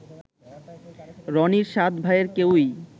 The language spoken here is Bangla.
রনির সাত ভাইয়ের কেউই